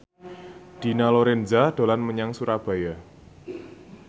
Dina Lorenza dolan menyang Surabaya